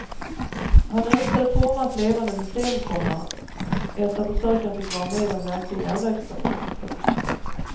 Han önskade forma ett levande museum, komma ett där besökaren fick vara med om verklig järnvägstrafik. punkt